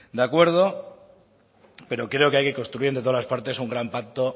de acuerdo pero creo que hay que ir construyendo en todas las partes un gran pacto